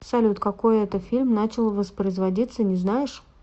салют какой это фильм начал воспроизводиться не знаешь